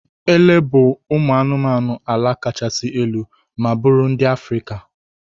Ele bụ ụmụ anụmanụ ala kachasị elu ma bụrụ ndị Africa.